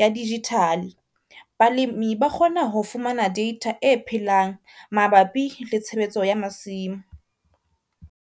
ya digital. Balimi ba kgona ho fumana data e phelang mabapi le tshebetso ya masimo.